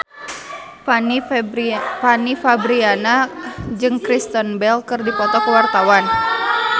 Fanny Fabriana jeung Kristen Bell keur dipoto ku wartawan